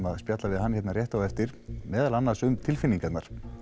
við spjöllum við hann hérna rétt á eftir meðal annars um tilfinningarnar